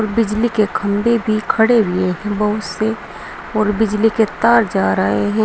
बिजली के खंभे भी खड़े हुए बहुत से और बिजली के तार जा रहे हैं।